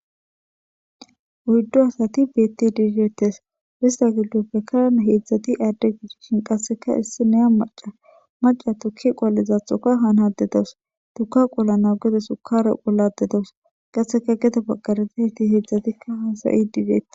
Oyidu asati betizi detes intapeka hezati ade qasika issnay maca maca tuke qolayidaysthoka hanayida dawus shukare qolayda dawus hesape gede bagara hezatika hasayidi dees